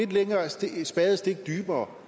et spadestik dybere